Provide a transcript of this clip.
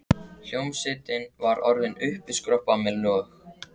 Hljómsveitin var orðin uppiskroppa með lög.